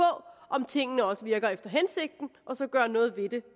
om tingene også virker efter hensigten og så gøre noget ved det